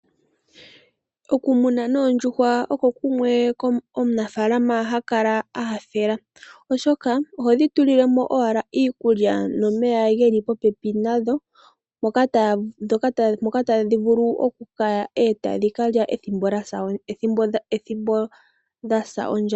Okumuna oondjuhwa oko kumwe omunafaalama hakala anyanyukilwa oshoka ohodhi tulile mo owala iikulya nomeya geli popepi nadho. Moka tadhi vulu oku ya etadhili ethimbo dhasa ondja.